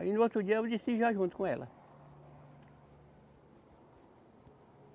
Aí no outro dia eu decidi ir lá junto com ela.